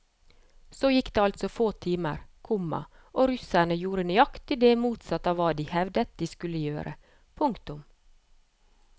Så gikk det altså få timer, komma og russerne gjorde nøyaktig det motsatte av hva de hevdet de skulle gjøre. punktum